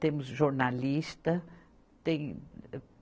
Temos jornalista. tem